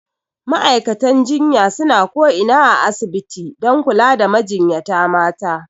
Ma'aikatan jinya suna ko ina a asibiti dan kula da majinyata mata